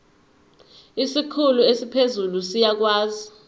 isikhulu esiphezulu siyakwazi